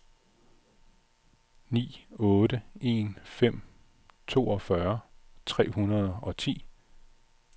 ni otte en fem toogfyrre tre hundrede og ti